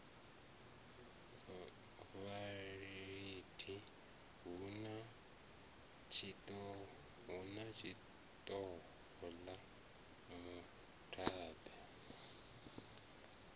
vhalidi hu na tshihoṱola mudabe